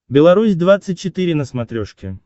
беларусь двадцать четыре на смотрешке